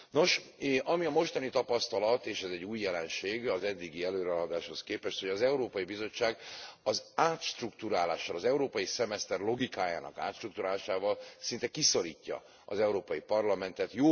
Nos, ami a mostani tapasztalat, és ez új jelenség az eddigi előrehaladáshoz képest, hogy az Európai Bizottság az átstrukturálással, az európai szemeszter logikájának átstrukturálásával szinte kiszorítja az Európai Parlamentet.